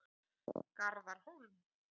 Garðar Hólm.